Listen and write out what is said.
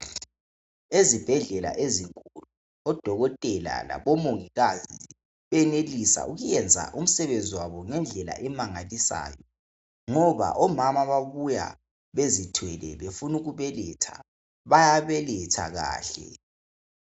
Ezibhedlela ezinkulu odokotela labomongikazi benelisa ukuyenza umsebenzi wabo ngendlela emangalisayo ngoba omama bayabuya bezithwele befuna ukubeletha bayabeletha kahle